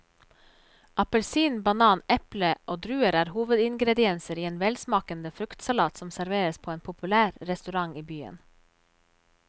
Appelsin, banan, eple og druer er hovedingredienser i en velsmakende fruktsalat som serveres på en populær restaurant i byen.